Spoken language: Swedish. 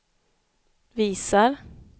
visar